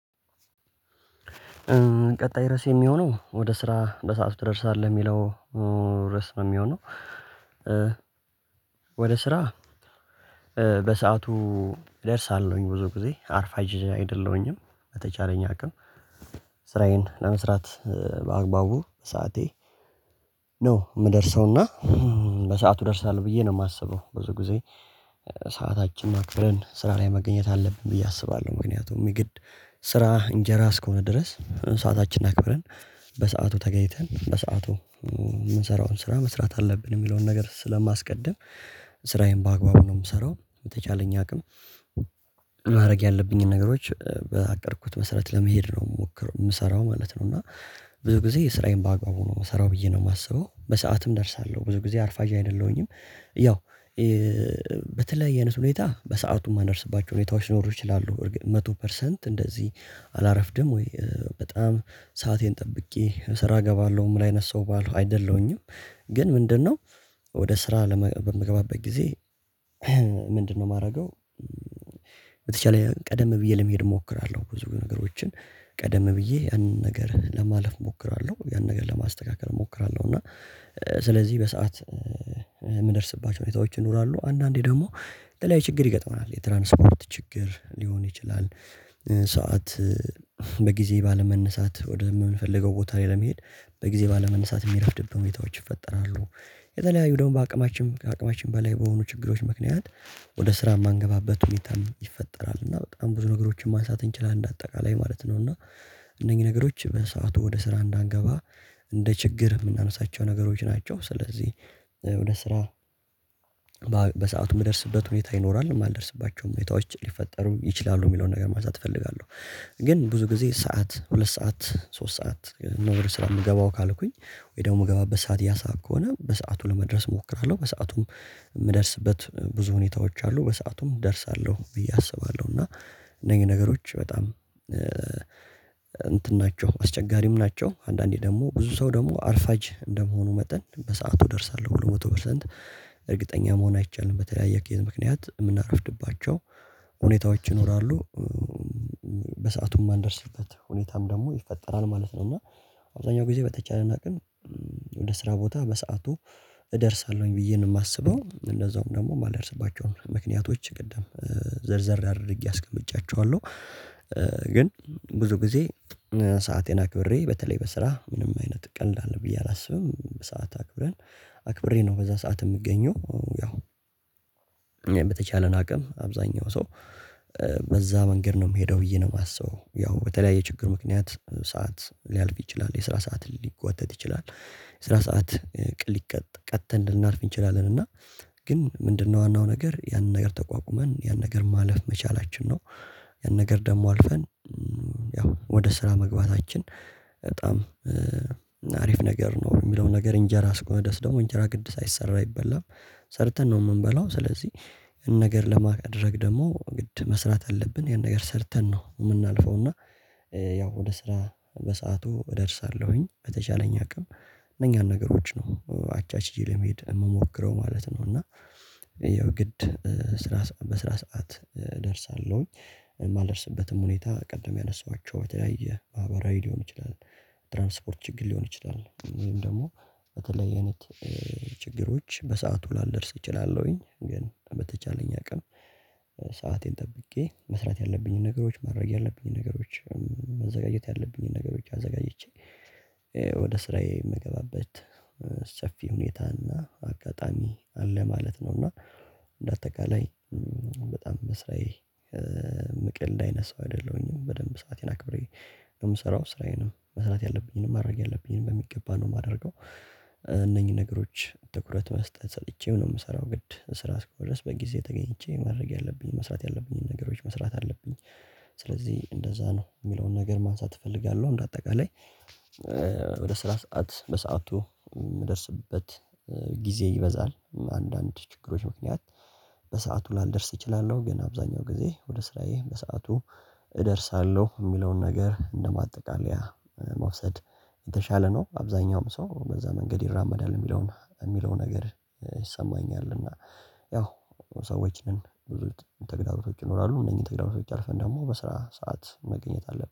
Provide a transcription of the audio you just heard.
ቀጣይ ርዕስ የሚሆነው ወደ ስራ በሰአቱ ትደርሳለህ? የሚለው ሪዕስ ነው የሚሆነው። ወደ ስራ በሰአቱ እደርሳለሁኝ ብዙ ጊዜ አርፋጅ አይደለሁኝም በተቻለኝ አቅም። ስራዬን ለመስራት በአግባቡ ሰዓቴ ነው የምደርሰውና በሰአቱ እደርሳለው ብዬ ነው የማስበው ብዙ ጊዜ። ሰዓታችን አክበረን ስራ ላይ መገኘት አለብን ብዬ አስባለሁ። ምክንያቱም የግድ ስራ እንጀራ እስከሆነ ድረስ ሰዓታችን አክብረን በሰአቱ ተገኝተን በሰአቱ የምንሰራውን ስራ መስራት አለብን የሚለውን ነገር ስለማስቀድም። ስራዬን በአግባቡ ነው የምሰራው የተቻለኝ አቅም ማድረግ ያለብኝን ነገሮች በአቀድኩት መሰረት ለመሄድ ነው የምሞክረው የምሰራው ማለት ነው። እና ብዙ ጊዜ የስራዬን ባአግባቡ ነው የሚሰራው ብዬ ነው የማስበው። በሰአትም እደርሳለሁ ብዙ ጊዜ አርፋጃ አይደለሁኝም። ያው በተለይ አይነት ሁኔታ በሰአቱ የማነርስባቸው ሁኔታዎች ሊኖሩ ይችላሉ መቶ ፐርሰንት እንደዚህ አላረፍድም ወይ በጣም ሰአቴን ጠብቄ ስራ እገባለሁ ምን አይነት ሰው ባለው አይደለሁኝም። ግን ምንድነው ወደ ስራ በምገባበት ጊዜ ምንድነው የማደርገው በተቻለ ቀደም ብዬ ለመሄድ እሞክራለሁ። ብዙ ነገሮችን ቀደም ብዬ አንድ ነገር ለማለፍ እሞክራለሁ ያንን ነገር ለማስተካከል እሞክራለሁ። እና ስለዚህ በሰአት የምንደርስባቸው ሁኔታዎች ይኖራሉ። አንዳንዴ ደግሞ የተለያዩፀችግር ይገጥመናል የትራንስፖርት ችግር፤ ሊሆን ይችላል ሰዓት በጊዜ ባለመነሳት ወደ የምንፈልገው ቦታ ላይ ለመሄድ በጊዜ ባለመነሳት የሚረፍድብን ሁኔታዎች ይፈጠራሉ። የተለያዩ ደግሞ በአቅማችን ከአቅማችን በላይ በሆኑ ችግሮች ምክንያት ወደ ስራ የማንገባበት ሁኔታም ይፈጠራል እና በጣም ብዙ ነገሮችን ማንሳት እንችላለን አጠቃላይ ማለት ነው። እና እነኚህ ነገሮች በሰአቱ ወደ ስራ እንዳንገባ እንደ ችግር የምናነሳቸው ነገሮች ናቸው። ስለዚህ ወደ ስራ በሰአቱ የሚደርስበት ሁኔታ ይኖራል የማልደርስባቸው ሙያዎች ሊፈጠሩም ይችላሉ የሚለውን ነገር ማሳተፍ እፈልጋለሁ። ግን ብዙ ጊዜ ሰዓት ሁለት ሰዓት ሶስት ሰዓት ነው ወደ ስራ የምገባው ካልኩኝ ወይ ደግሞ የምገባበት ሰዓት ያሳብ ከሆነ በሰአቱ ለመድረስ እሞክራለሁ። በሰአቱም ብዙ ሁኔታዎች አሉ በሰአቱም እደርሳለሁ ብዬ አስባለሁ። እና እነኝህ ነገሮች በጣም እንትን ናቸው አስቸጋሪም ናቸው አንዳንዴ ደግሞ ብዙ ሰው ደግሞ አርፋጅ እንደመሆኑ መጠን በሰአቱ እደርሳለሁ ብሊ መቶ ፐርሰንት እርግጠኛ መሆን አይቻልም በተለያየ ኪየት ምክንያት የምናረፍድባቸው ሁኔታዎች ይኖራሉ። አንዳንደርስበት ሁኔታም ደግሞ ይፈጠራል ማለት ነው። እና አብዛኛው ጊዜ በተቻለን አቅም ወደ ስራ ቦታ በሰአቱ እደርሳለሁኝ ብዬ ነው የማስበው። እንደዛውም ደግሞ የማልደርስባቸውም ምክንያቶች ቅድም ዘርዘር አድርጌ አስቀምጫቸዋለሁ። ግን ብዙ ጊዜ ሰአቴን አክብሬ በተለይ በስራ ምንም አይነት ቀልድ አለ ብዬ አላስብም በሰአት አክብሬ ነው በዛ ሰዓት የምገኘው። ያው በተቻለን አቅም አብዛኛው ሰው በዛ መንገድ ነው የምሄደው ብዬ ነው የማስበው። ያው በተለያየ ችግር ምክንያት ሰዓት ሊያልፍ ይችላል፤ የስራ ሰዓት ሊጓተት ይችላል፤ የስራ ሰዓት ቅል ሊቀጥ ቀጥተን፤ ልናልፍ እንችላለን። እና ግን ምንድነው ዋናው ነገር ያንን ነገር ተቋቁመን ያንን ነገር ማለፍ መቻላችን። ነው ያን ነገር ደግሞ አልፈን ያው ወደ ስራ መግባታችን በጣም አሪፍ ነገር ነው የሚለውን ነገር እንጀራ ስቆመደስ ደግሞ እንጀራ ቅድስት አይሰራም ይበላል ሰርተን ነው የምንበላው። ስለዚህ ነገር ለማድረግ ደግሞ የግድ መስራት አለብን ያን ነገር ሰርተን ነው የምናልፈው። እና ያው ወደ ስራ በሰአቱ እደርሳለሁኝ በተቻለኝ አቅም እነኛን ነገሮች ነው አቻችዬ ለመሄድ የምሞክረው ማለት ነው። እና ያው ግድ ስራ በስራ ሰዓት እደርሳለሁኝ የማልደርስበትም ሁኔታ ቅድም ያነሳኋቸው በተለያየ ማህበራዊ ሊሆን ይችላል። ትራንስፖርት ችግር ሊሆን ይችላል፤ ወይም ደግሞ በተለይ አይነት ችግሮች፤ በሰአቱ ላልደርስ እችላለሁኝ። ግን በተቻለኝ አቅም ሰአቴን ጠብቄ መስራት ያለብኝን ነገሮች፤ ማድረግ ያለብኝን ነገሮች፤ መዘጋጀት ያለብኝን ነገር፤ ብቻ አዘጋጅቼ ወደ ስራዬ የሚገባበት ሰፊ ሁኔታ እና አጋጣሚ አለ ማለት ነው። እና እንደ አጠቃላይ በጣም በስራዬ ምቀልድ አይነት ሳው አይደለሁኝም በደንብ ሰአቴን አክብሬ የምሰራው ስራዬን መስራት ያለብኝንም ማድረግ ያለብኝንም በሚገባ ነው የማደርገው። እነኚህ ነገሮች ትኩረት መስጠት ሰርቼ ነው የምሰራው የግድ ስራ አስከ ሆነ ድረስ በጊዜ ተገኝቼ ማድረግ ያለብኝ፤ መስራት ያለብኝን፤ ነገሮች መስራት አለብኝ። ስለዚህ እንደዛ ነው የሚለውን ነገር ማንሳት እፈልጋለሁ። በእንዳጠቃላይ ወደ ስራ ሰዓት በሰአቱ የምደርስበት ጊዜ ይበዛል። በንዳንድ ችግሮች ምክንያት በሰአቱ ላልደርስ እችላለሁ። ግን አብዛኛው ጊዜ ወደ ስራዬ በሰአቱ እደርሳለሁ የሚለውን ነገር እንደ ማጠቃለያ መውሰድ የተሻለ ነው። አብዛኛውም ሰው በዛ መንገድ ይራመዳል የሚለውን የሚለው ነገር ይሰማኛል። እና ያው ሰዎች ነን ብዙ ተግዳሮቶች ይኖራሉ እነኝን ተግዳሮቶች አልፈን ደግሞ በስራ ሰዓት መገኘት አለብን።